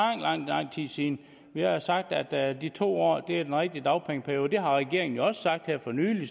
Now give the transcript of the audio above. tid siden vi har sagt at de to år er den rigtige dagpengeperiode det har regeringen jo også sagt her for nylig